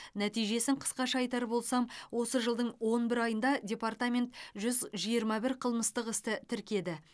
нәтижесін қысқаша айтар болсам осы жылдың он бір айында департамент жүз жиырма бір қылмыстық істі тіркеді